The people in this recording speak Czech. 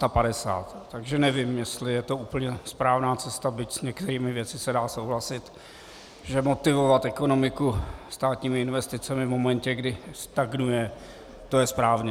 Takže nevím, jestli je to úplně správná cesta, byť s některými věcmi se dá souhlasit, že motivovat ekonomiku státními investicemi v momentě, kdy stagnuje, to je správně.